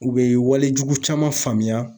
U bɛ walejugu caman faamuya.